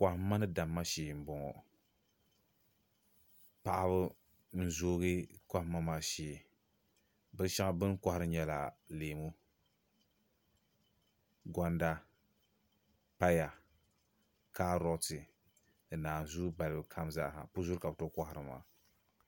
Kɔhimma ni damma shɛɛ mbɔŋɔ paɣaba n zoogi kohimma maa shɛɛ bini shɛŋa bini kohiri maa n nyɛ leemu gonda paya karɔti ni nanzuu balibu kam zaaha pu zuri ka bi tooi kɔhiri maa.